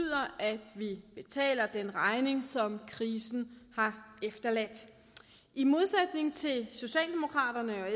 at vi betaler den regning som krisen har efterladt i modsætning til socialdemokraterne